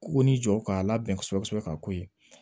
K'u ni jɔ k'a labɛn kosɛbɛ kosɛbɛ ka ko ye